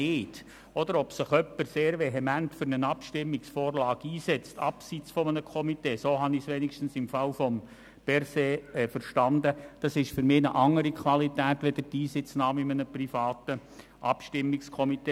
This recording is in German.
Wenn sich jemand abseits der Komitees sehr vehement für eine Abstimmungsvorlage einsetzt – was Bundesrat Berset meiner Einschätzung nach getan hat –, hat dies eine andere Qualität als die Einsitznahme in einem privaten Abstimmungskomitee.